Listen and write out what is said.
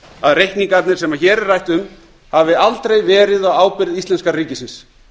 að reikningarnir sem hér er rætt u hafi aldrei verið á ábyrgð íslenska ríkisins